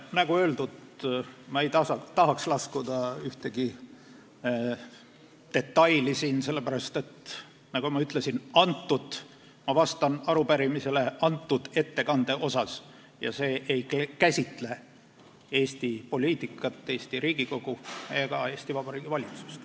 Nagu öeldud, ma ei tahaks siin ühtegi detaili laskuda, sellepärast et ma vastan arupärimisele selle ettekande kohta, mis ei käsitle Eesti poliitikat, Eesti Riigikogu ega Eesti Vabariigi valitsust.